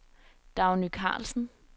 Dagny Karlsen